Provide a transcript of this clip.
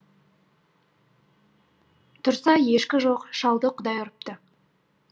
тұрса ешкі жоқ шалды құдай ұрыпты